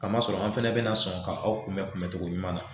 Kamasɔrɔ an fɛnɛ bina sɔn ka aw kunbɛn kunbɛncogo ɲuman na